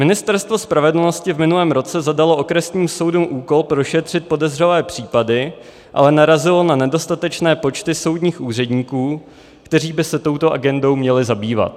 Ministerstvo spravedlnosti v minulém roce zadalo okresním soudům úkol prošetřit podezřelé případy, ale narazilo na nedostatečné počty soudních úředníků, kteří by se touto agendou měli zabývat.